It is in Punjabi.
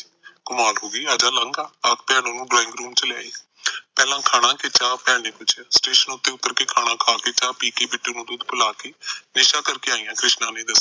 ਕਮਾਲ ਹੋਗੀ ਆਜਾ ਲੰਘ ਆ ਅੱਪਦੇਆ ਨੂੰ ਡਰਾਈਂਗ ਰੂਮ ਚ ਲੈ ਆਈ ਪਹਿਲਾ ਖਾਣਾ ਕੇ ਚਾਹ ਭੈਣ ਨੇ ਪੁਛਿਆ ਸਟੇਸ਼ਨ ਉਤੇ ਉਤਰ ਨੇ ਖਾਣਾ ਖਾਕੇ ਚਾਹ ਪੀਕੇ ਬਿੱਟੂ ਨੂੰ ਦੁਧ ਪਿਲਾ ਕੇ ਨਿਸ਼ਾ ਕਰਕੇ ਆਈ ਆ ਕ੍ਰਿਸ਼ਨਾ ਨੇ ਦੱਸਿਆ